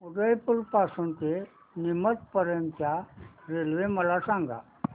उदयपुर पासून ते नीमच पर्यंत च्या रेल्वे मला सांगा